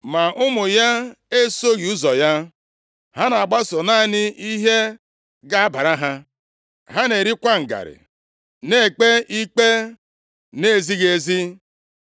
Ma ụmụ ya esoghị ụzọ ya. + 8:3 \+xt 1Sa 12:3; Jer 22:15-17\+xt* Ha na-agbaso naanị ihe ga-abara ha. + 8:3 \+xt Ọpụ 18:21\+xt* Ha na-erikwa ngarị, na-ekpe ikpe na-ezighị ezi. + 8:3 \+xt Ọpụ 23:6-8; Dit 16:19\+xt*